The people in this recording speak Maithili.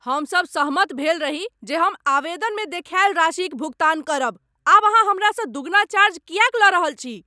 हम सभ सहमत भेल रही जे हम आवेदनमे देखायल राशिक भुगतान करब। आब अहाँ हमरासँ दुगुना चार्ज किएक लऽ रहल छी?